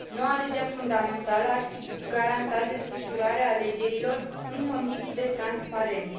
Noua lege fundamentală ar fi garantat desfășurarea alegerilor în condiții de transparență.